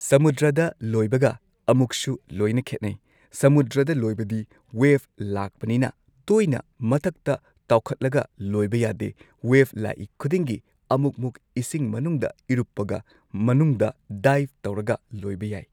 ꯁꯃꯨꯗ꯭ꯔꯗ ꯂꯣꯏꯕꯒ ꯑꯃꯨꯛꯁꯨ ꯂꯣꯏꯅ ꯈꯦꯠꯅꯩ ꯁꯃꯨꯗ꯭ꯔꯗ ꯂꯣꯏꯕꯗꯤ ꯋꯦꯕ ꯂꯥꯛꯄꯅꯤꯅ ꯇꯣꯏꯅ ꯃꯊꯛꯇ ꯇꯥꯎꯈꯠꯂꯒ ꯂꯣꯢꯕ ꯌꯥꯗꯦ ꯋꯦꯕ ꯂꯥꯛꯏ ꯈꯨꯗꯤꯡꯒꯤ ꯑꯃꯨꯛꯃꯨꯛ ꯏꯁꯤꯡ ꯃꯅꯨꯡꯗ ꯏꯔꯨꯞꯄꯒ ꯃꯅꯨꯡꯗ ꯗꯥꯢꯕ ꯇꯧꯔꯒ ꯂꯣꯏꯕ ꯌꯥꯏ꯫